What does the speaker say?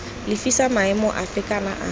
lefisa maemo afe kana afe